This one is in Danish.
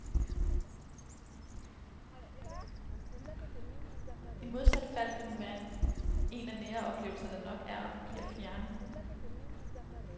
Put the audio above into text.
I modsat fald vil den være en af nære oplevelser, der nok er og forbliver fjerne.